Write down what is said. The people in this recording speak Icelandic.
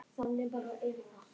Og þannig gufi hann upp?